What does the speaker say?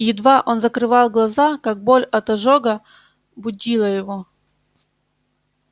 едва он закрывал глаза как боль от ожога будила его